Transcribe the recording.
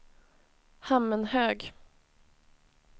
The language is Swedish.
Hammenhög